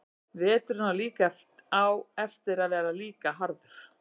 Veturinn á eftir var líka harður.